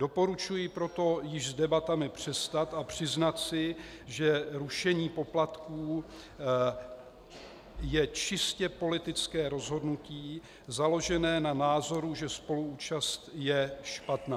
Doporučuji proto již s debatami přestat a přiznat si, že rušení poplatků je čistě politické rozhodnutí, založené na názoru, že spoluúčast je špatná.